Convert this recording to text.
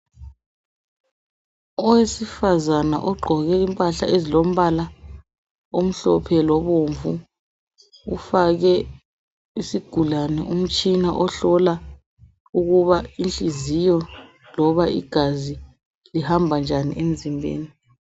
Owesifazana ogqoke impahla ezilombala omhlophe lobomvu ufake isigulane umtshina ohlola ukuba inhliziyo loba igazi lihamba njani emzimbeni.